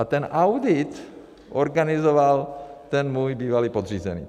A ten audit organizoval ten můj bývalý podřízený.